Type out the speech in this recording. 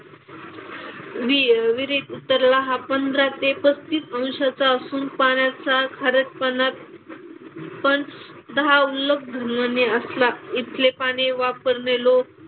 वि विहिरीत उतरला हा पंधरा ते पस्तीस अंशाचा असून पाण्याचा खारटपणा पण दहा असला, इथले पाणी वापरणे लोक,